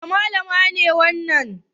Wace Mallama ce wannan?